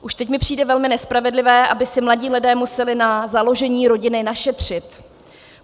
Už teď mi přijde velmi nespravedlivé, aby si mladí lidé museli na založení rodiny našetřit.